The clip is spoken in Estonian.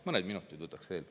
Mõned minutid võtaks veel.